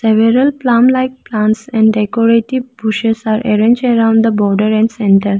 several plum like plants and decorative bushes are arrange around the border and centre.